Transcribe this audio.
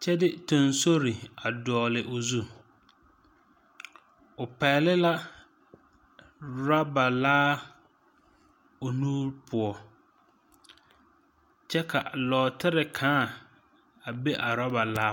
kyɛ de teŋsori a dɔgle o zu, o pegli la rubber laa o nuure poɔ ,kyɛ ka nɔɔtere kãã be a rubber laa poɔ.